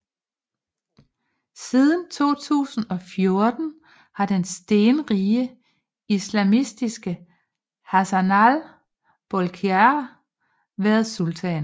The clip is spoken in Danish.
Siden 2014 har den stenrige islamistiske Hassanal Bolkiah været sultan